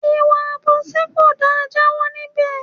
Ìwà àbòsí kò da, jawo níbè!